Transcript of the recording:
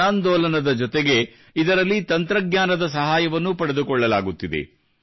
ಜನಾಂದೋಲನದ ಜೊತೆಗೆ ಇದರಲ್ಲಿ ತಂತ್ರಜ್ಞಾನದ ಸಹಾಯವನ್ನೂ ಪಡೆದುಕೊಳ್ಳಲಾಗುತ್ತಿದೆ